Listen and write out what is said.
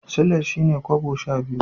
Sulai shine kobo sha biyu.